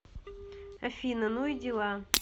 афина ну и дела